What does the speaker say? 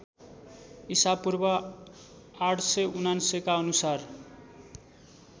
ईपू ८९९ का अनुसार